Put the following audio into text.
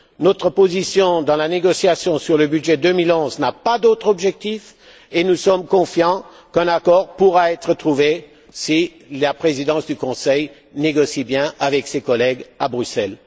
Notre position dans la négociation sur le budget 2011 n'a pas d'autre objectif et nous sommes confiants qu'un accord pourra être trouvé si la Présidence du Conseil négocie bien avec ses collègues à Bruxelles.